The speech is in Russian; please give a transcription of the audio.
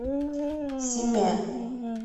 симе